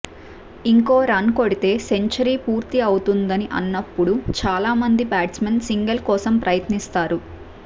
ఇంకో రన్ కొడితే సెంచురీ పూర్తి అవుతుంది అన్నప్పుడు చాలా మంది బ్యాట్స్మెన్ సింగల్ కోసం ప్రయత్నిస్తారు